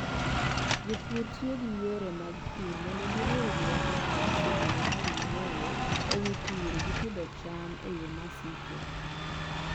Jopur tiyo gi yore mag pur mondo giriw rieko ma ne gisebedo ka ging'eyo e wi pur gi pidho cham e yo ma siko.